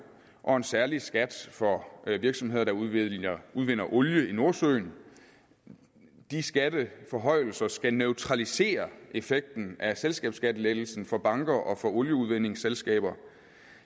og en særlig skat for virksomheder der udvinder udvinder olie i nordsøen de skatteforhøjelser skal neutralisere effekten af selskabsskattelettelsen for banker og olieudvindingsselskaber